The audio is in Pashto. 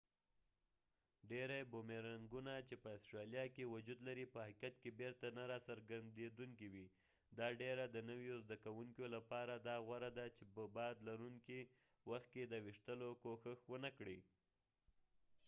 ډیری بومیرنګونه چې په استرالیا کې وجود لري په حقیقت کې بیرته نه راګرڅیدونکي وي دا ډیره د نویو زده کوونکیو لپاره دا غوره ده چې په باد لرونکي وخت کې د ویشتلو کوښښ ونکړي